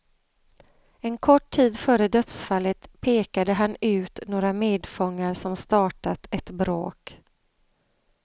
En kort tid före dödsfallet pekade han ut några medfångar som startat ett bråk.